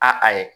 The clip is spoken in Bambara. A ayi